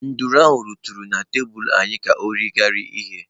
Nduru ahụ rutere na tebụl anyị ka ọ rie irighiri ihe.